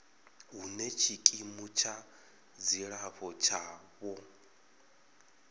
hune tshikimu tsha dzilafho tshavho